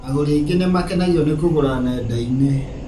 agũri aingĩ nĩ makenagio nĩ kũgũra nenda-inĩ